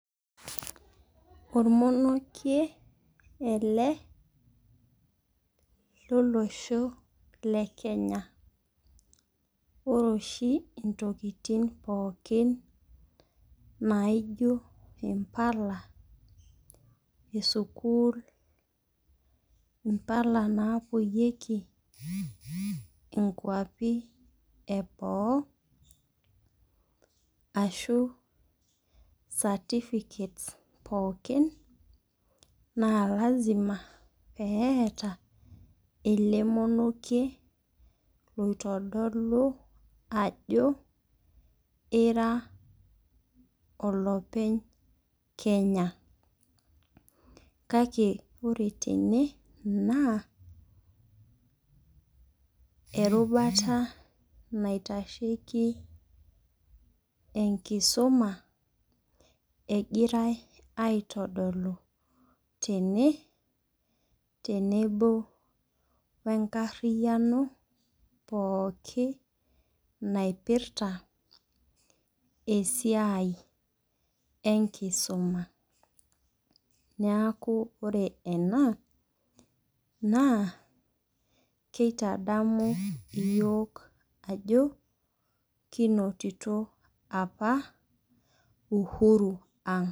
Ormonokie ele lo losho le Kenya. Ore oshi intokin pookin naijo mpala esukul Impala napoyieki inkuapi eboo ashu certificates pookin naa lazima peeta ele monieki oitodolu ajo ira olopeny Kenya. Kake ore tene naa orubata naitasheki enkisuma egirai aitodolu tene tenebo wee nkariano pookin naipirta esiai enkisuma. Neeku ore ena naa keitadamu iyiok ajo kinotito apa uhuru ang'.